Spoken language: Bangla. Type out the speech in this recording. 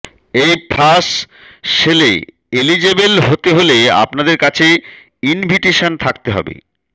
এই ফ্ল্যাশ সেলে এলিজেবেল হতে হলে আপনাদের কাছে ইনভিটেশান থাকতে হবে